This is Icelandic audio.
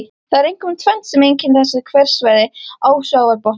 Það er einkum tvennt sem einkennir þessi hverasvæði á sjávarbotni.